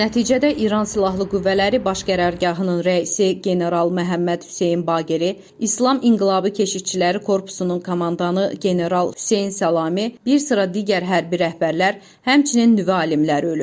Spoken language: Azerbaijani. Nəticədə İran silahlı qüvvələri baş qərargahının rəisi general Məhəmməd Hüseyn Baqeri, İslam İnqilabı Keşikçiləri Korpusunun komandanı general Hüseyn Səlami, bir sıra digər hərbi rəhbərlər, həmçinin nüvə alimləri ölüb.